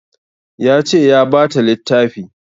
Ya ce ya bata littafi